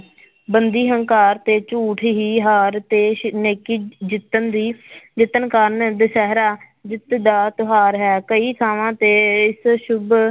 ਬੰਦੀ ਹੰਕਾਰ ਤੇ ਝੂਠ ਹੀ ਹਾਰ ਤੇ ਨੇਕੀ ਜਿੱਤਣ ਦੀ ਜਿੱਤਣ ਕਾਰਨ ਦੁਸਹਿਰਾ ਜਿੱਤ ਦਾ ਤਿਉਹਾਰ ਹੈ ਕਈ ਥਾਵਾਂ ਤੇ ਇਸ ਸੁੱਭ